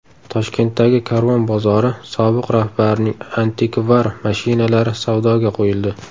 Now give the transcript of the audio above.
Toshkentdagi Karvon bozori sobiq rahbarining antikvar mashinalari savdoga qo‘yildi .